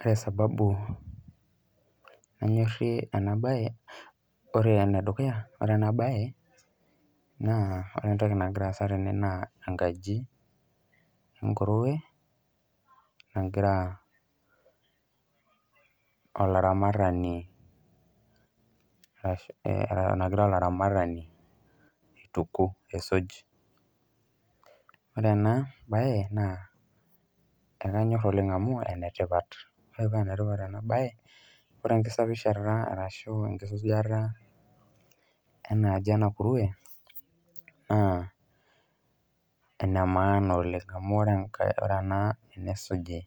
Ore sababu nanyorie ena mbae ore ene dukuya naa ore ena mbae naa ore entoki nagira asaa tene naa enkji enkurwe nagira oloramatani aituku ore ena mbae e ekanyor oleng amu ene tipata ore paa enetipat naa ore enkisafishata enaji ena kurwe naa]enemaana oleng amu ore enisuji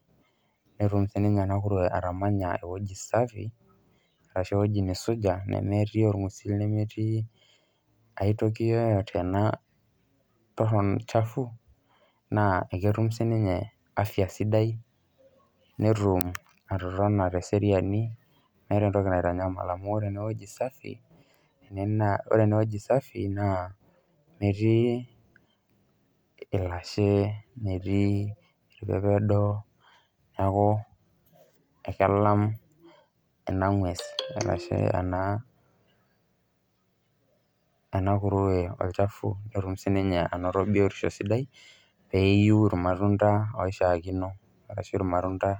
netum sininye enakurwe atamanya ewueji safi ashu ewueji nisuja arashu nemetii orng'usil aitoki yoyote chafua naa eketum sininye afya sidai netum atotona teseriani meeta entoki naitanyamal amu ore ewueji safi naa metii elashe metii irpepedo neeku kegira ekelam ena ng'ues arashu ena kurwe olchafu netum sininye anoto biotisho sidai petum atolimu irmatunda oishakina arashua irmatunda